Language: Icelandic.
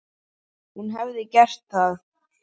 Hún hefði gert það.